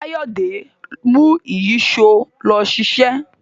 Kayode mú Ìyíṣòó ló ṣiṣẹ.